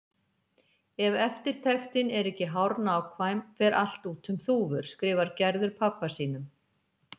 Ef eftirtektin er ekki hárnákvæm fer allt út um þúfur, skrifar Gerður pabba sínum.